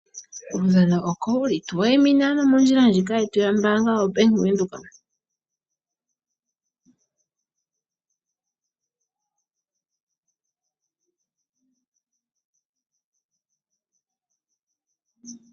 Uudhano oko wuli. Tu wayimina ano mondjila ndjika yetu yombaanga yo Bank Windhoek.